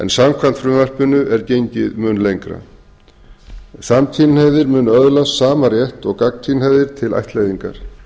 samkvæmt frumvarpinu er gengið mun lengra samkynhneigðir munu öðlast sama rétt og gagnkynhneigðir til ættleiðingar